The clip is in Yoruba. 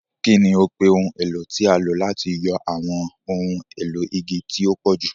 Kí ni o pe ohun èlò tí a lò láti yọ àwọn ohun èlò igi tí ó pọ̀jù?